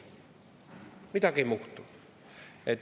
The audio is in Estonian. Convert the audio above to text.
Midagi ei muutu.